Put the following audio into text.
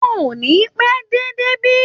Wọn ò ní pẹ́ dé débí